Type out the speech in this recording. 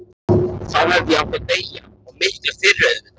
Þá hefði ég átt að deyja, og miklu fyrr auðvitað.